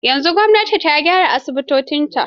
Yanzu gwamnati ta gyara asibitocinta.